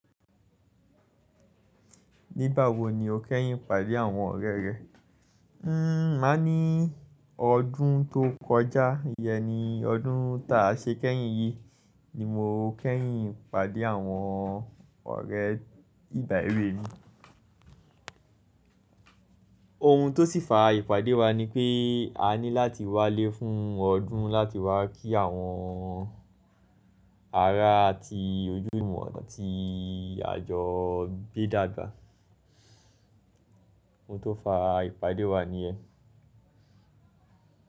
Nígbà wo ni o kẹ́yìn ìpàdé àwọn ọ̀rẹ́ rẹ? Un, máa ní ọdún tó kọjá, yẹn ni ọdún ta ṣe kẹ́yìn yìí ni mo kẹ́yìn pàdé àwọn ọ̀rẹ́ ìgba ewe mi. Ohun tó sì fa ìpàdé wa ni pé a ní láti wá lé fún ọdún láti wá kí àwọn ara ti ojúlumọ́ ti àjọ gbé dàgbà. Ohun tó fa ìpàdé wa nìyẹn.